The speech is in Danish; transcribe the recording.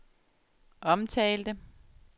omtalte